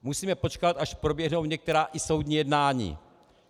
Musíme počkat, až proběhnou některá i soudní jednání.